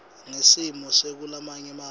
ngesimo sakulamanye mave